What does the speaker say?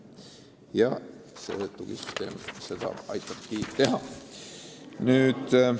Ja see tugisüsteem seda aitabki teha.